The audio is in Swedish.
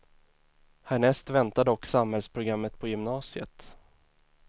Härnäst väntar dock samhällsprogrammet på gymnasiet.